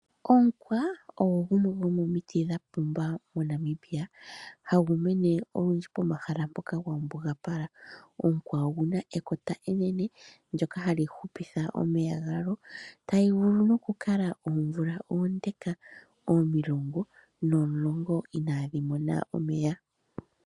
Omukwa ogwo gumwe gwomomiti dhapumba mo Namibia. Ohagu mene olundji pomahala ngoka gambugapala . Omukwa oguna ekota enene ndoka hali hupitha omeya tali vulu nokukala oomvula omulongo nomulongo inadhi mona omeya.